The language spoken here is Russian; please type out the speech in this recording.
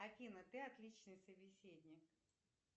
афина ты отличный собеседник